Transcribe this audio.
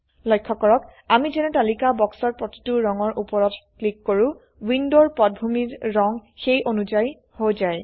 লক্ষ্য কৰক আমি যেনে তালিকা বাক্সৰ প্ৰতিটো ৰঙৰ উপৰত ক্লিক কৰো উইন্ডোৰ পটভূমিৰ ৰঙ সেই অনুযায়ী হৈ যায়